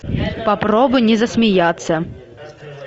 попробуй не засмеяться